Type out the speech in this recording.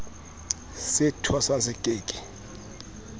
se thwasang se ke ke